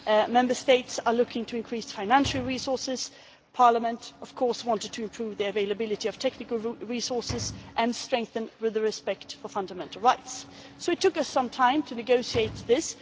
Member States are looking to increase financial resources, while Parliament wanted to improve the availability of technical resources and strengthen respect for fundamental rights, so it took us some time to negotiate this.